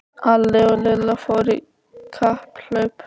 Alli og Lilla fóru í kapphlaup.